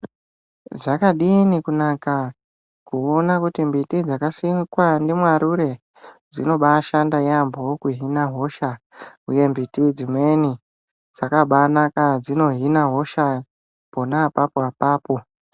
Zvakadini kunaka kuona kuti mbiti dzakasimwa nemwarure dzinobashanda neyambo kuhina hosha uye mbiti dzimweni dzakabanaka dzino Hina hosha pona apapo apapo.